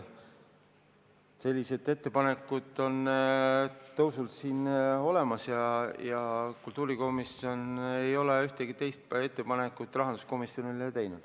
Sellised ettepanekud on siin olemas, kultuurikomisjon ei ole ühtegi teist ettepanekut rahanduskomisjonile teinud.